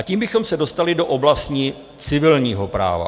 A tím bychom se dostali do oblasti civilního práva.